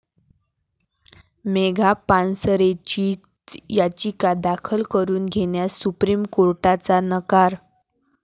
मेघा पानसरेंची याचिका दाखल करून घेण्यास सुप्रीम कोर्टाचा नकार